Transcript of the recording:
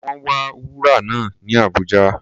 Wọ́n wa wúrà náà ní Abuja.